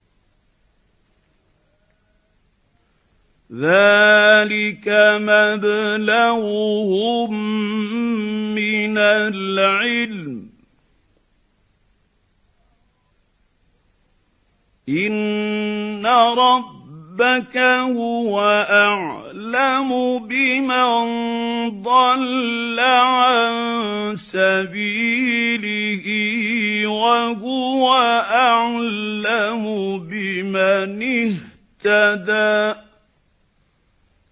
ذَٰلِكَ مَبْلَغُهُم مِّنَ الْعِلْمِ ۚ إِنَّ رَبَّكَ هُوَ أَعْلَمُ بِمَن ضَلَّ عَن سَبِيلِهِ وَهُوَ أَعْلَمُ بِمَنِ اهْتَدَىٰ